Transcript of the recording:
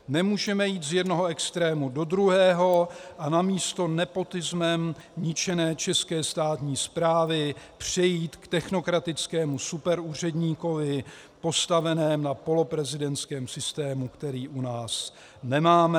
Nemůžeme jít z jednoho extrému do druhého a namísto nepotismem ničené české státní správy přejít k technokratickému superúředníkovi, postaveném na poloprezidentském systému, který u nás nemáme."